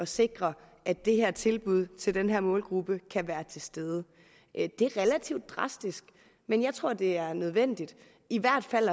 sikre at det her tilbud til den her målgruppe kan være til stede det er relativt drastisk men jeg tror at det er nødvendigt i hvert fald